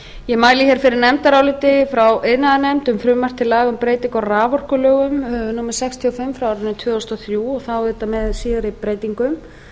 ég mæli fyrir nefndaráliti frá iðnaðarnefnd um frumvarp til laga um breytingu á raforkulögum númer sextíu og fimm tvö þúsund og þrjú og þá auðvitað með síðari breytingum